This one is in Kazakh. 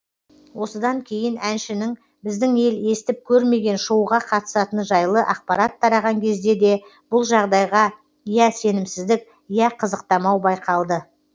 осыдан кейін әншінің біздің ел естіп көрмеген шоуға қатысатыны жайлы ақпарат тараған кезде де бұл жағдайға я сенімсіздік я қызықтамау байқалды